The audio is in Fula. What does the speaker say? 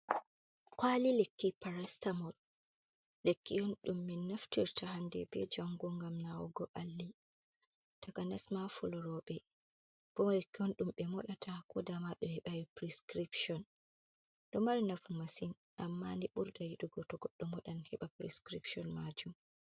Kwali lekki parasitamol lekki on ɗum min naftirta hande be jango ngam nawugo ɓalli, takanas ma fuloroɓe ɓoden kon koɗum ɓe moɗata ko da ɓe hebai prescription fo mari nafu masin amma ni ɓurda yiɗugo to goɗɗo modan heɓa prescription majum.